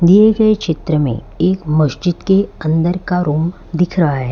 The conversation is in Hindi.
दिये गये चित्र में एक मस्जिद के अंदर का रूम दिख रहा है।